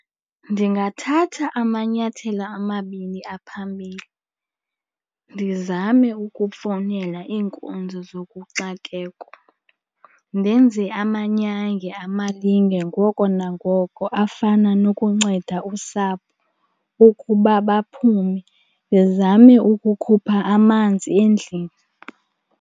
Ndingathatha amanyathelo amabini aphambili. Ndizame ukufowunela iinkonzo zokuxakeko, ndenze amanyange amalinge ngoko nangoko afana nokunceda usapho ukuba baphume, ndizame ukukhupha amanzi endlini.